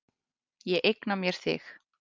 Ég eigna mér þig.